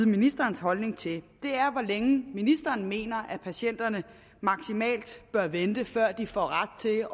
ministerens holdning til er hvor længe ministeren mener patienterne maksimalt bør vente før de får ret til